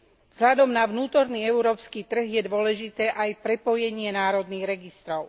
Vzhľadom na vnútorný európsky trh je dôležité aj prepojenie národných registrov.